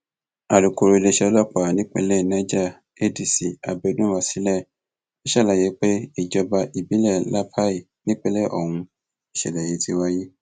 alūkọrọ iléeṣẹ ọlọpàá ìpínlẹ niger adc abiodun wasilai sàlàyé pé ìjọba ìbílẹ lápàì nípìnlẹ ọhún nìṣẹlẹ yìí ti wáyé